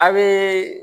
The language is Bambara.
A bee